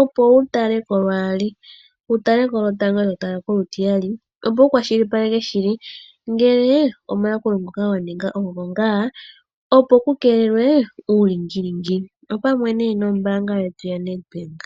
opo wu tale ko lwaali, wutale ko lwotango eto tala ko olutiyali. Opo wu kwashilipaleke shi li ngele omayakulo ngoka wa ninga ogo ngaa, opo ku keelelwe uulingilingi. Opamwe ne nombaanga yetu yaNedBank.